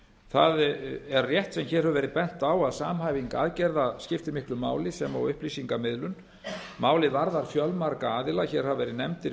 það er rétt sem hér hefur verið bent á að samhæfing aðgerða skiptir miklu máli sem og upplýsingamiðlun málið varða fjölmarga aðila hér hafa verið nefndir